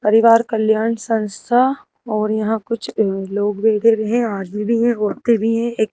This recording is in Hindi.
परिवार कल्याण संस्था और यहां कुछ अह लोग भी हैं आदमी भी हैं औरतें भी हैं एक--